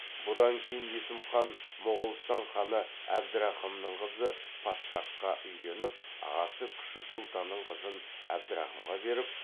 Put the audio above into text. бұдан кейін есім хан моғолстан ханы әбдірахымның қызы падшахқа үйленіп ағасы күшік сұлтанның қызын әбдірахымға беріп